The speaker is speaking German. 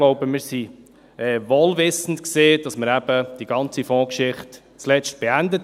Ich glaube, wir haben wohlwissend die ganze Fondsgeschichte letztes Mal beendet.